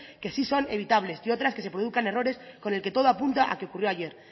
que sí son evitables y que otra es que se produzcan errores con lo que todo apunta que ocurrió ayer